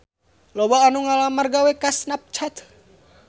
Loba anu ngalamar gawe ka Snapchat